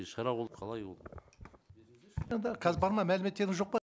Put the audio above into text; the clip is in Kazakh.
шара болып қалай ол қазір бар ма мәліметтеріңіз жоқ па